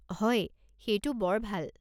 হয়, সেইটো বৰ ভাল।